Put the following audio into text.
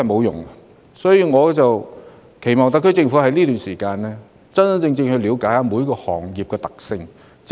因此，我期望特區政府能在這段期間，認真了解每個行業的處境。